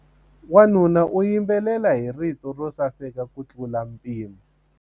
Wanuna u yimbelela hi rito ro saseka kutlula mpimo.